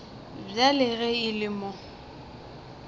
bjale ge e le mo